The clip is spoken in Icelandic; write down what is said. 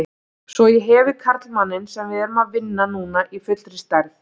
Svo ég hefi karlmanninn sem við erum að vinna núna í fullri stærð.